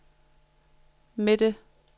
midte